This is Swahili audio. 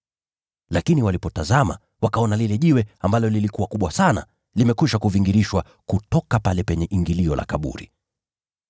Lakini walipotazama, wakaona lile jiwe, ambalo lilikuwa kubwa sana, limekwisha kuvingirishwa kutoka pale penye ingilio la kaburi.